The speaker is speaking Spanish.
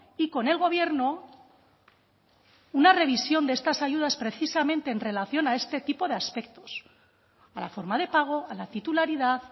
y con el gobierno una revisión de estas ayudas precisamente en relación a este tipo de aspectos a la forma de pago a la titularidad